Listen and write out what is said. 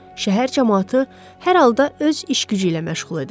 şəhər camaatı hər halda öz iş gücü ilə məşğul idi.